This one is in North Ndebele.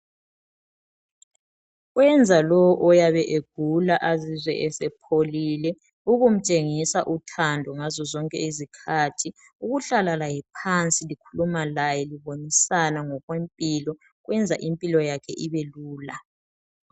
Kuyenza lo oyabe egula azizwe esepholile ukumtshengisa uthando ngazo zonke izikhathi ukuhlala laye phansi likhuluma laye libonisana ngokwe mpilo. Kwenza impilo yakhe ibelula.